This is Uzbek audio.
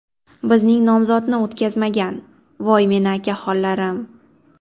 Bizning nomzodni o‘tkazmagan, voy meni akaxonlarim!